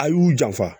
A y'u janfa